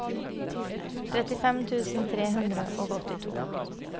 trettifem tusen tre hundre og åttito